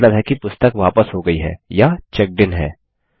जिसका मतलब है कि पुस्तक वापस हो गयी है या चेक्ड इन है